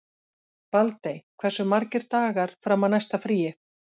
Baldey, hversu margir dagar fram að næsta fríi?